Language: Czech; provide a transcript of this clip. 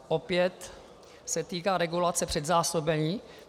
Opět se týká regulace předzásobení.